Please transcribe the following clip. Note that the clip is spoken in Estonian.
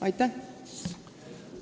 Aitäh!